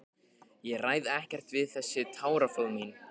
Ég ræð ekkert við þessi táraflóð mín.